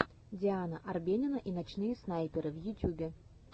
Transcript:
диана арбенина и ночные снайперы в ютюбе